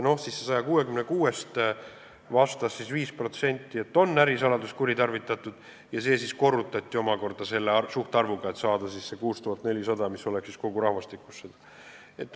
Nendest vastas 5%, et ärisaladust on kuritarvitatud, ja see korrutati selle suhtarvuga, et saada see arv 6400, mis vastaks nende arvule kogurahvastikus.